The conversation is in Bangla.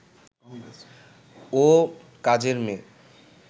ও কাজের মেয়ে